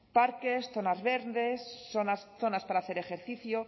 parques zonas verdes zonas para hacer ejercicio